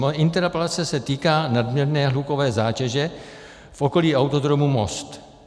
Moje interpelace se týká nadměrné hlukové zátěže v okolí Autodromu Most.